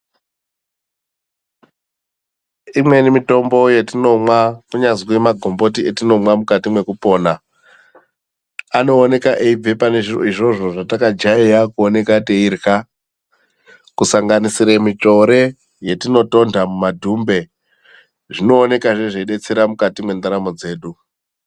Imweni mitombo yetinomwa kunyazwi magomboti etinomwa mukati mwekupona anooneka eibve pane izvozvo zvatakajaira kuoneka teirya kusanganisire mitsvore yetinotonda mumadhumbe zvinoonekazve zveidetsera mukati mwendaramobdzedu